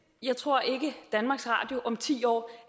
jeg tror ikke at danmarks radio om ti år